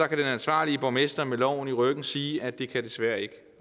kan den ansvarlige borgmester med loven i ryggen sige at det desværre ikke